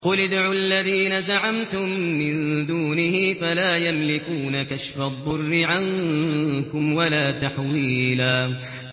قُلِ ادْعُوا الَّذِينَ زَعَمْتُم مِّن دُونِهِ فَلَا يَمْلِكُونَ كَشْفَ الضُّرِّ عَنكُمْ وَلَا تَحْوِيلًا